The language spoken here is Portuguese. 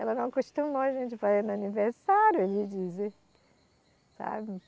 Ela não acostumou a gente fazendo aniversário, eles dizem, sabe.